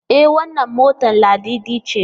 E wannan motar Ladidi ce.